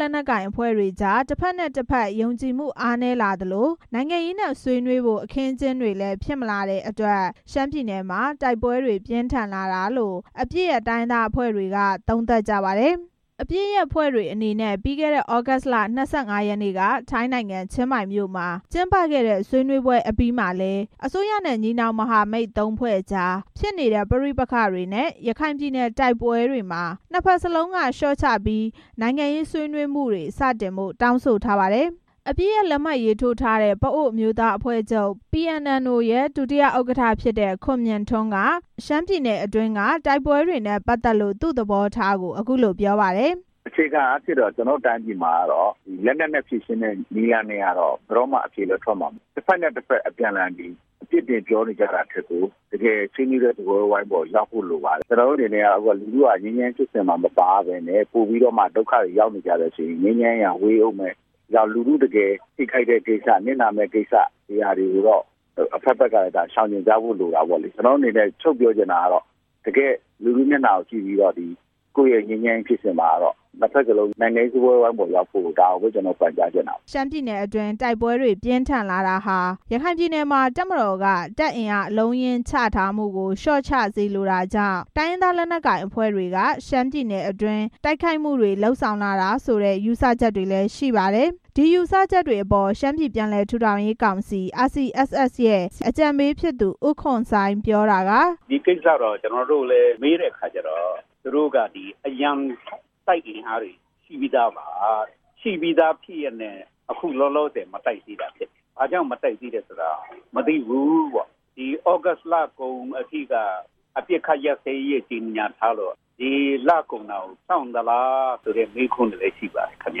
လက်နက်ကိုင်အဖွဲ့တွေကြား တစ်ဘက်နဲ့တစ်ဘက်ကြား ယုံကြည်မှု အားနည်းလာသလို နိုင်ငံရေးနဲ့ဆွေးနွေးဖို့ အခင်းအကျင်းတွေလည်း ဖြစ်မလာတဲ့အတွက် ရှမ်းပြည်နယ်မှာ တိုက်ပွဲတွေ ပြင်းထန်လာတာလို့ အပစ်ရပ်တိုင်းရင်းသားအဖွဲ့တွေက သုံးသပ်ကြပါတယ်။ အပစ်ရပ်အဖွဲ့တွေအနေနဲ့ ပြီးခဲ့တဲ့ သြဂုတ်လ ၂၅ ရက်နေ့က ထိုင်းနိုင်ငံ၊ ချင်းမိုင်မြို့မှာ ကျင်းပခဲ့တဲ့ ဆွေးနွေးပွဲ အပြီးမှာလည်း အစိုးရနဲ့ ညီနောင်မဟာမိတ် သုံးဖွဲ့ကြားဖြစ်နေတဲ့ ပဋိပက္ခတွေနဲ့ ရခိုင်ပြည်နယ် တိုက်ပွဲတွေမှာ နှစ်ဘက်စလုံးက လျှော့ချပြီး နိုင်ငံရေးဆွေးနွေးမှုတွေ စတင်ဖို့ တောင်းဆိုထားပါတယ်။ အပစ်ရပ်လက်မှတ်ရေးထိုးထားတဲ့ ပအိုဝ်းအမျိုးသားအမျိုးသားအဖွဲ့ချုပ် PNLO ရဲ့ ဒုတိယဥက္ကဋ္ဌ ဖြစ်တဲ့ ဦးခွန်မြင့်ထွန်းက ရှမ်းပြည်နယ်အတွင်းက တိုက်ပွဲတွေနဲ့ ပတ်သက်လို့ သူ့သဘောထားကို အခုလို ပြောပါတယ်။ "အခြေခံအားဖြင့် ကျနော်တို့ တိုင်းပြည်မှာ လက်နက်နဲ့ ဖြေရှင်းတဲ့နည်းက ဘယ်တော့မှ အဖြေလည်း ထွက်မှာ မဟုတ်ဘူး။ တစ်ဘက်နဲ့ တစ်ဘက် ပြစ်တင်ပြောနေကြတာထက်ကို တကယ်ဆွေးနွေးတဲ့ စားပွဲဝိုင်းပေါ် ရောက်ဖို့ လိုပါတယ်။ လူထုဟာ ငြိမ်းချမ်းရေးဖြစ်စဉ်မှာ မပါဘဲနဲ့ ပိုပြီးတော့ ဒုက္ခတွေရောက်နေကြရင် ငြိမ်းချမ်းရေးဟာ ပိုပြီးမှ ဝေးဦးမယ်။ လူထုထိခိုက်မယ့် နစ်နာမယ့်ကိစ္စတွေကို အဖက်ဖက်က ရှောင်ကြည်ကြဖို့လိုတာပေ့ါလေ။ လူထုမျက်နှာကို ကြည့်ပြီးတော့ နှစ်ဘက်စလုံး ငြိမ်းချမ်းရေးစားပွဲဝိုင်းကို ရောက်ဖို့ ကျနော်တို့ အနေနဲ့ ပြောချင်ပါတယ်" ရှမ်းပြည်နယ်အတွင်း တိုက်ပွဲတွေ ပြင်းထန်လာတာဟာ ရခိုင်ပြည်နယ်မှာ တပ်မတော်က တပ်အင်အားအလုံး အရင်းချထားမှုကို လျော့ကျစေလိုတာကြောင့် တိုင်းရင်းသားလက်နက်ကိုင်အဖွဲ့တွေက ရှမ်းပြည်နယ်အတွင်း တိုက်ခိုက်မှုတွေ လုပ်ဆောင်လာတာဆိုတဲ့ ယူဆချက်တွေလည်း ရှိပါတယ်။ ဒီယူဆချက်တွေအပေါ် ရှမ်းပြည်ပြန်လည်ထူထောင်ရေးကောင်စီ RCSS ရဲ့ အကြံပေးဖြစ်သူ ဦးခွန်စိုင်း ပြောတာက "ဒီကိစ္စလည်း ကျနော်တို့ မေးတဲ့အခါကျတော့ သူတို့အနေနဲ့ အရံတိုက်အင်အားတွေ ရှိထားပြီးသားပါ။ ရှိပြီးသား ဖြစ်ရဲ့နဲ့ အခုလောလောဆယ် မတိုက်သေးတာဖြစ်တယ်။ ဘာကြောင့်မတိုက်သေးတာ မသိဘူး။ အခုသြဂုတ်လ ကုန်အထိက အပစ်ခတ်ရပ်စဲရေး ကြေညာထားတော့ ဒီလကုန်တာကို စောင့်သလားဆိုတဲ့ မေးခွန်းတွေလည်း ရှိပါတ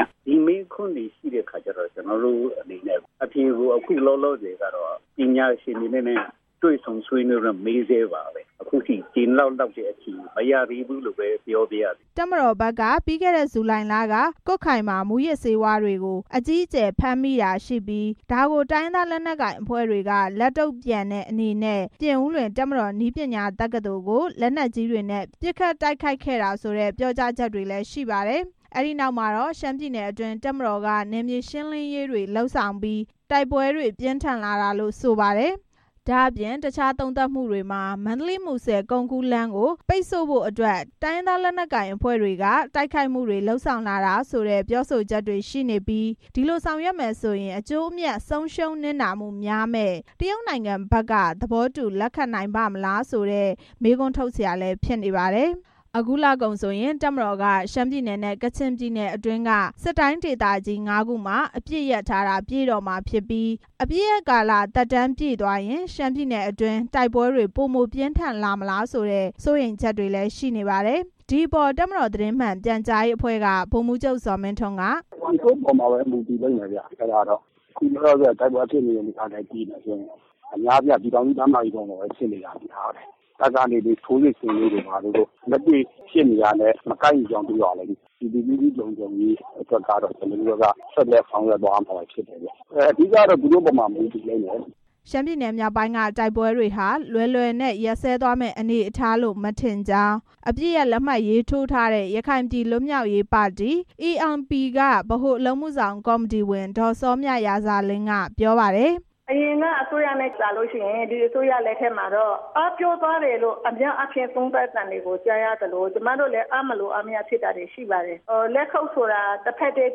ယ်။ ဒီမေးခွန်းတွေရှိတဲ့ အခါကျတော့ ကျနော်တို့အနေနဲ့လည်း အဖြေကို ပညာရှင်တွေနဲ့ တွေ့ဆုံဆွေးနွေးပြီး မေးဆဲပါပဲ။ အခုထိ ကျေနပ်လောက်တဲ့ အဖြေမရသေးဘူးလို့ပဲ ပြောပါရစေ" တပ်မတော်ဘက်က ပြီးခဲ့တဲ့ ဇူလိုင်လက ကွတ်ခိုင်မှာ မူးယစ်ဆေးဝါးတွေကို တပ်မတော်က အကြီးအကျယ် ဖမ်းမိတာရှိပြီး ဒါကို တိုင်းရင်းသားလက်နက်ကိုင်အဖွဲ့တွေက လက်တုံ့ပြန်တဲ့အနေနဲ့ ပြင်ဦးလွင် တပ်မတော်နည်းပညာတက္ကသိုလ်ကို လက်နက်ကြီးတွေနဲ့ ပစ်ခတ်တိုက်ခိုက်ခဲ့တာဆိုတဲ့ ပြောကြားချက်တွေလည်း ရှိပါတယ်။ ဒီနောက် ရှမ်းပြည်နယ်အတွင်း တပ်မတော်က နယ်မြေရှင်းလင်းရေးတွေ လုပ်ဆောင်ပြီး တိုက်ပွဲတွေ ပြင်းထန် လာတာလို့ဆိုပါတယ်။ ဒါ့အပြင် တခြားသုံးသပ်မှုတွေမှာ မန္တလေး-မူဆယ် ကုန်ကူးလမ်းကို ပိတ်ဖို့အတွက် တိုင်းရင်းသားလက်နက်ကိုင် အဖွဲ့တွေက တိုက်ခိုက်မှုတွေ လုပ်ဆောင်လာတာဆိုတဲ့ ပြောဆိုမှုတွေလည်းရှိနေပြီး ဒီလိုဆောင်ရွက်မယ်ဆိုရင် အကျိုးအမြတ် ဆုံးရှုံးနစ်နာမှုများမယ့် တရုတ်နိုင်ငံဘက်က သဘောတူလက်ခံပါ့မလားလို့ မေးခွန်းထုတ်စရာ ဖြစ်နေပါတယ်။ အခုလကုန်ဆိုရင် တပ်မတော်က ရှမ်းပြည်နယ်နဲ့ ကချင်ပြည်နယ်အတွင်းက စစ်တိုင်းဒေသကြီး ငါးခုမှာ အပစ် ရပ်ထားတာ ပြည့်တော့မှာဖြစ်ပြီး အပစ်ရပ်ကာလ သက်တမ်းပြည့်ရင် ရှမ်းပြည်နယ်အတွင်း တိုက်ပွဲတွေပိုပြင်း ထန်လာမလားဆိုတဲ့ စိုးရိမ်ချက်တွေလည်း ရှိနေပါတယ်။ ဒီအပေါ် တပ်မတော်သတင်းမှန်ပြန်ကြားရေးအဖွဲ့က ဗိုလ်မှူးချုပ်ဇော်မင်းထွန်းက "သူတို့ပေါ်ပဲ မူတည်လိမ့်မယ်ဗျ။ အခုလောလောဆယ် တိုက်ပွဲဖြစ်နေတဲ့ နေရာတွေ ကြည့်မယ်ဆိုရင် အများအားဖြင့်က ပြည်ထောင်စုလမ်းမကြီးပေါ်မှာပဲ ဖြစ်နေတာများတယ်။ တပ်ကနေပြီး ထိုးစစ်ဆင်လို့တို့ ဘာတို့တို့ လက်တွေနဲ့ မကိုက်ညီကြောင်း တွေ့ပါလိမ့်မယ်။ ပြည်သူလူထုလုံခြုံရေးအတွက်က ကျနော်တို့ ဆက်ပြီးတော့ လုပ်ဆောင်သွားရမှာ ဖြစ်ပါတယ်။ အဓိက ကတော့ သူတို့ပေါ်မှာ မူတည်လိမ့်မယ်" ရှမ်းပြည်နယ်မြောက်ပိုင်းက တိုက်ပွဲတွေဟာ လွယ်လွယ်နဲ့ ရပ်စဲသွားမယ့်အနေအထားလို့ မထင်ကြောင်း အပစ်ရပ်လက်မှတ်ရေးထိုးထားတဲ့ ရခိုင်ပြည်လွတ်မြောက်ရေးပါတီ ALP က ဗဟိုအလုပ်အမှုဆောင် ကော်မတီဝင် ဒေါ်စောမြရာဇာလင်း ကပြောပါတယ်။ “အရင်ကထက်စာရင် ဒီအစိုးရလက်ထက်မှာ အားပျော့သွားတယ်လို့ သုံးသပ်သံတွေကြားရသလို ကျမတို့လည်း အားမလိုအားမရဖြစ်တာတွေ ရှိပါတယ်။ လက်ခုတ်ဆိုတာ တစ်ဘက်တည်း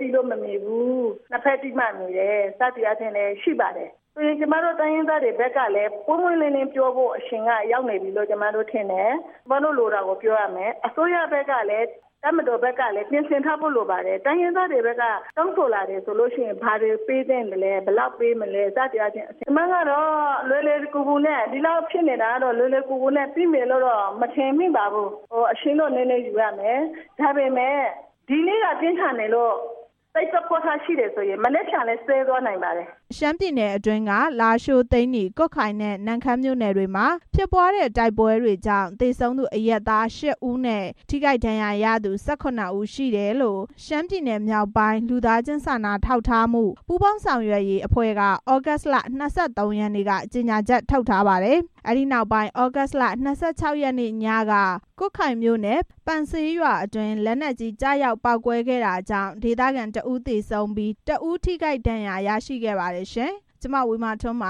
တီးလို့မမြည်ဘူး၊ နှစ်ဘက်တီးမှ မြည်တယ် စသည်အားဖြင့်ရှိပါတယ်။ ကျမတို့တိုင်းရင်းသားတွေဘက်ကလည်း ပွင့်ပွင့်လင်းလင်း ပြောဖို့ အချိန်ရောက်နေပြီလို့ ကျမထင်တယ်။ အစိုးရဘက်ကလည်း တပ်မတော်ဘက်ကလည်း ပြင်ဆင်ထားဖို့ လိုပါတယ်။ တိုင်းရင်းသားတွေဘက်က တောင်းဆိုလာလို့ရှိရင် ဘာတွေပေးသင့်လဲ။ ဘာတွေပေးမလဲ စသည်အားဖြင့်။ ကျမကတော့ ဒီလောက်ဖြစ်နေတာ လွယ်လွယ်ကူကူနဲ့ ပြီးမယ်လို့တော့ မထင်ပါဘူး။ အချိန်တော့ နည်းနည်းယူရမယ်။ ဒါပေမဲ့လို့ ဒီနေ့က ပြင်းထန်နေလို့ စိတ်သဘောထားရှိရင် မနက်ဖြန်လည်း ဆဲသွားနိုင်ပါတယ်။” ရှမ်းပြည်နယ်အတွင်းက လားရှိုး၊ သိန်းနီ၊ ကွတ်ခိုင်နဲ့ နမ့်ခမ်းမြို့နယ်တွေမှာ ဖြစ်ပွားတဲ့ တိုက်ပွဲတွေကြောင့် သေဆုံးသူ အရပ်သား ရှစ်ဦးနဲ့ ထိခိုက်ဒဏ်ရာရသူ ၁၇ ဦး ရှိတယ်လို့ ရှမ်းပြည်နယ်( မြောက်ပိုင်း) လူသားချင်း စာနာထောက်ထားမှု ပူးပေါင်းဆောင်ရွက်ရေးအဖွဲ့က သြဂုတ်လ ၂၃ ရက်နေ့က ကြေညာချက်ထုတ်ထားပါတယ်။ အဲဒီနောက်ပိုင်း သြဂုတ်လ ၂၆ ရက်နေ့ညက ကွတ်ခိုင်မြို့နယ်၊ ပန်ဆေးရွာအတွင်း လက်နက်ကြီးကျရောက် ပေါက်ကွဲခဲ့တာကြောင့် ဒေသခံ တစ်ဦး သေဆုံးပြီး တစ်ဦး ထိခိုက်ဒဏ်ရာရရှိခဲ့ပါတယ်ရှင်။ (RFA သတင်းထောက် မဝေမာထွန်း ပ